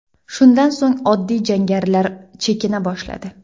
Shundan so‘ng oddiy jangarilar chekina boshladi.